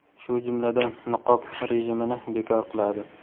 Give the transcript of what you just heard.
shu jumladan niqob rejimini bekor qiladi.